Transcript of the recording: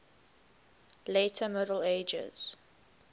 later middle ages